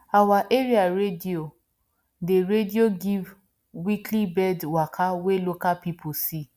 our area radio dey radio dey give weekly birds waka wey local people see